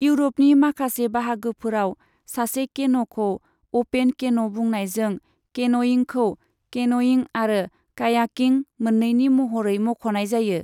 इउर'पनि माखासे बाहागोफोराव सासे केन'खौ अपेन केन' बुंनायजों केनयिंखौ केन'यिं आरो कायाकिं मोन्नैनि महरै मख'नाय जायो।